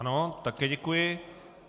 Ano, také děkuji.